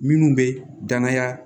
Minnu bɛ danaya